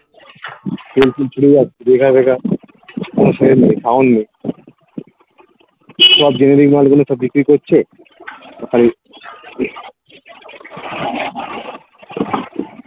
বেকার বেকার sound নেই সব মালগুলো সব বিক্রি করছে তাই